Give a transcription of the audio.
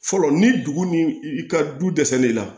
Fɔlɔ ni dugu ni i ka du dɛsɛlen la